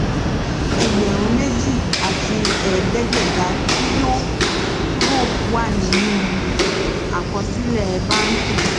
ẹgbẹrún méjì àti ẹẹdẹgbẹta tí yọ kúrò wà nínú àkọsílẹ bánkì